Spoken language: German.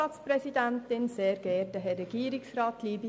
Kommissionssprecherin der GSoK.